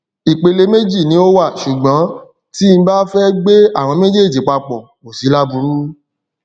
ìpele méjì ni ó wà ṣùgbọn tí bá fẹ gbé àwọn méjèèjì papọ kó sí láburú